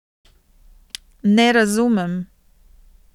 Ne razumem.